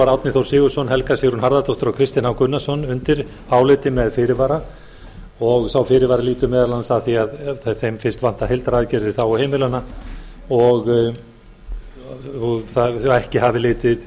árni þór sigurðsson helga sigrún harðardóttir og kristinn h gunnarsson undir álitið með fyrirvara sá fyrirvari lýtur meðal annars að því að heildaraðgerðir í þágu heimilanna og hafi